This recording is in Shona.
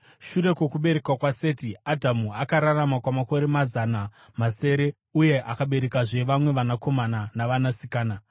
Shure kwokuberekwa kwaSeti, Adhamu akararama kwamakore mazana masere uye akaberekazve vamwe vanakomana navanasikana.